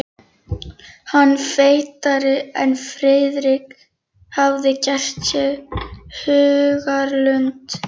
Hann var feitari en Friðrik hafði gert sér í hugarlund.